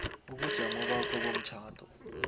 ubujamo bakho bomtjhado